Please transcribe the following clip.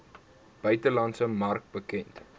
buitelandse mark bekend